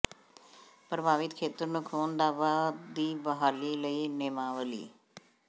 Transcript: ਪ੍ਰਭਾਵਿਤ ਖੇਤਰ ਨੂੰ ਖੂਨ ਦਾ ਵਹਾਅ ਦੀ ਬਹਾਲੀ ਲਈ ਨੇਮਾਵਲੀ